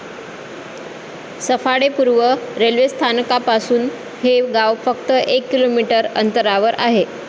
सफाळे पूर्व रेल्वेस्थानकापासून हे गाव फक्त एक किमी अंतरावर आहे.